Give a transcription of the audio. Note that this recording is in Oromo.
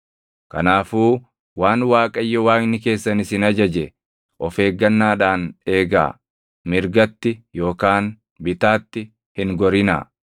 Kanaafuu waan Waaqayyo Waaqni keessan isin ajaje of eeggannaadhaan eegaa; mirgatti yookaan bitaatti hin gorinaa.